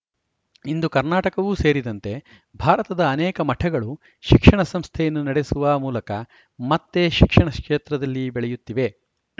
ಇಂದು ಕರ್ನಾಟಕವೂ ಸೇರಿದಂತೆ ಭಾರತದ ಅನೇಕ ಮಠಗಳು ಶಿಕ್ಷಣ ಸಂಸ್ಥೆಯನ್ನು ನಡೆಸುವ ಮೂಲಕ ಮತ್ತೆ ಶಿಕ್ಷಣ ಕ್ಷೇತ್ರದಲ್ಲಿ ಬೆಳೆಯುತ್ತಿದೆ